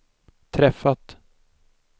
träffat